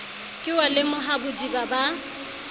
ke wa lemoha bodiba ba